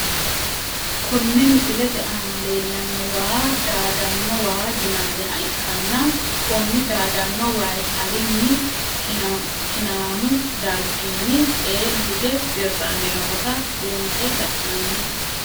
Kone misilete aana leelano waa daadano waa yinaniha ikkanna koni daadano wayi alini kinaamu dargini eela hige dirani noota buunxe la`nani.